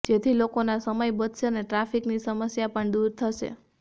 જેથી લોકોના સમય બચશે અને ટ્રાફિકની સમસ્યા પણ દૂર થશે